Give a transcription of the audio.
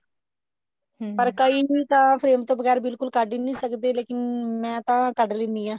ਪਰ ਕਈ ਤਾਂ frame ਤੋਂ ਬਗੈਰ ਬਿਲਕੁਲ ਕੱਢ ਹੀ ਨੀ ਸਕਦੇ ਲੇਕਿਨ ਮੈਂ ਤਾਂ ਕੱਢ ਲੈਂਦੀ ਹਾਂ